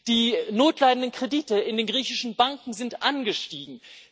Die notleidenden Kredite in den griechischen Banken sind angestiegen.